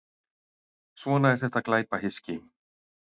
Svona er þetta glæpahyski.